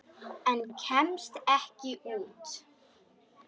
En kemst ekki út.